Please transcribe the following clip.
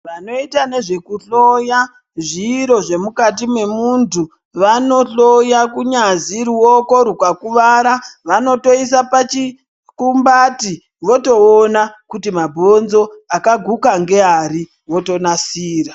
Vanoita nezvekuhloya zviro zvemukati memuntu vanohloya kunyazi ruoko rwukakuwara vanotoisa pachikumbati votoona kuti mabhonzo akaguka ngeari votonasira.